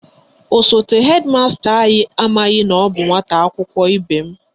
Osote hedi masta anyị amaghị na ọ bụ nwata akwụkwọ ibe m